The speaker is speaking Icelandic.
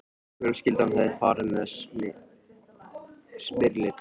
Fjölskyldan hafði farið með Smyrli til